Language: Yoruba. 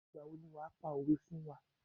Ìgbà wo ni wàá pa òwé fún wá.